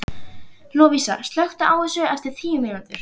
Lovísa, slökktu á þessu eftir tíu mínútur.